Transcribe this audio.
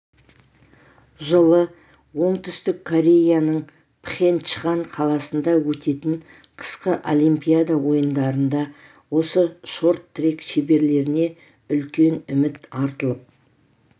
жылы оңтүстік кореяның пхенчхан қаласында өтетін қысқы олимпиада ойындарында осы шорт-трек шеберлеріне үлкен үміт артылып